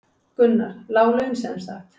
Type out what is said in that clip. Gunnar: Lág laun sem sagt?